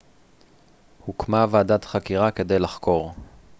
הוקמה ועדת חקירה כדי לחקור